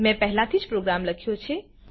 મેં પહેલાહી જ પ્રોગ્રામ લખ્યો છે